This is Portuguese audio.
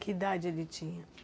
Que idade ele tinha?